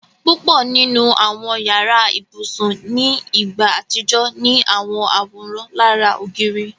Púpọ̀ nínu awọn yàrà-íbusùn ni ìgbà atijọ̀ ni awọn àwóran lárà ogìrì.